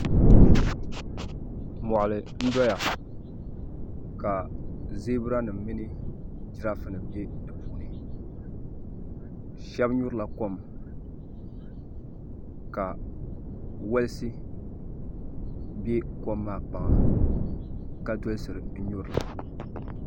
Mɔɣili n doya ka zɛbira nima mini girafe nima bɛ di puuni shɛba nyuri la kom ka wolisi bɛ kom maa kpaŋa ka dolisiri n nyuri li.